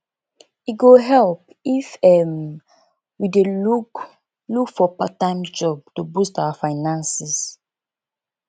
e go help if um we dey look look for parttime job to boost our finances